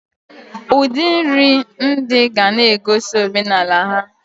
Udi nri ndi gana egosi omenala ha.